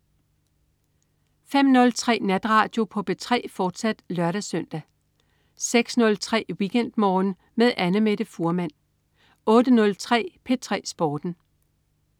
05.03 Natradio på P3, fortsat (lør-søn) 06.03 WeekendMorgen med Annamette Fuhrmann 08.03 P3 Sporten